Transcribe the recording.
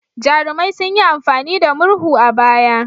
Jarumai sun yi amfani da murhu a baya.